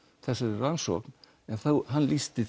þessari rannsókn en hann lýsti